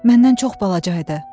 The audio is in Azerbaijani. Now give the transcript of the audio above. Məndən çox balaca idi.